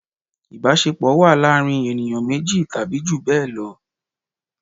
Ìbásepọ̀ wà láàrín ènìyàn méjì tàbí jù bẹ́ẹ̀ lọ